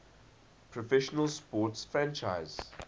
professional sports franchise